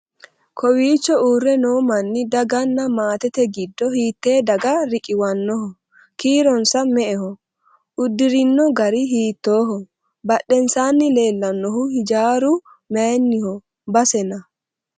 kowiicho uurre noo manni daganna maatete giddo hiittee daga riqiwannoho? kiironsa me"eho uddirino gari hiittooho" badhensaanni leellannohu hijaaru mayyenniho? basena?